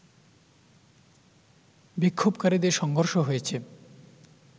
বিক্ষোভকারীদের সংঘর্ষ হয়েছে